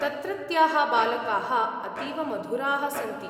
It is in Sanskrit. तत्रत्याः बालकाः अतीव मधुराः सन्ति।